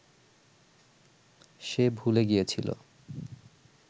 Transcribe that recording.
সে ভুলে গিয়েছিল